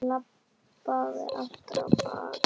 Ég labbaði aftur á bak.